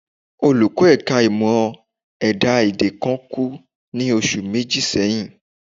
Olùkọ́ ẹ̀ka ìmọ̀ ẹ̀dá-èdè kan kú ní oṣù méjì sẹ́yìn